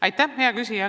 Aitäh, hea küsija!